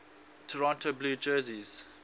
toronto blue jays